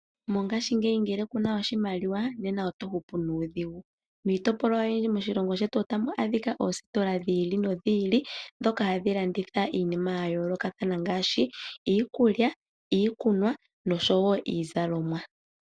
Mongashingeyi ngele kuna oshimaliwa nena otohupu nuudhigu miitopolwa oyindji moshilongo shetu otamu adhika oostola dhi ili nodhi ili ndhoka hadhi landitha iinima yayoolokathana ngaashi; iikulya iikunwa nosho wo iizalomwa.